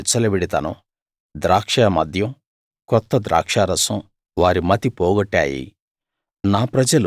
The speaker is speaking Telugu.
లైంగిక విచ్చలవిడితనం ద్రాక్షామద్యం కొత్త ద్రాక్షా రసం వారి మతి పోగొట్టాయి